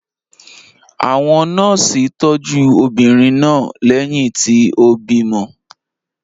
Àwọn nọ́ọ́sì tọ́jú obìnrin náà lẹ́yìn tí ó bímọ.